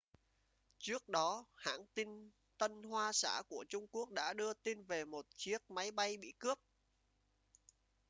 trước đó hãng tin tân hoa xã của trung quốc đã đưa tin về một chiếc máy bay bị cướp